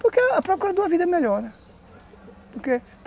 Porque a procura de uma vida melhor, né? Porque